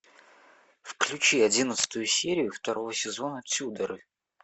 включи одиннадцатую серию второго сезона тюдоры